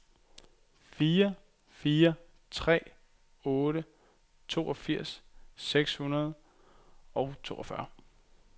fire fire tre otte toogfirs seks hundrede og toogfyrre